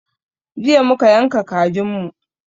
Jiya muka yanka kajin mu